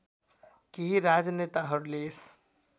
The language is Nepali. केही राजनेताहरूले यस